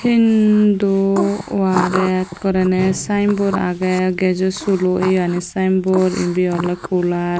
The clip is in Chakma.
hindu oh aggey ekorne sinebot aggey gasosulo eyani sinebot endi ole coolar.